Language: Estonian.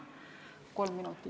Kolm minutit, palun!